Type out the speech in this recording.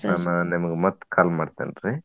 ನಿಮ್ಗ ಮತ್ತ್ call ಮಾಡ್ತೇನ್ರಿ.